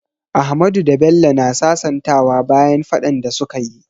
Ahmadu da Bello na sasantawa bayan faɗan da su ka yi.